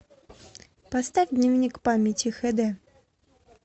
поставь дневник памяти хд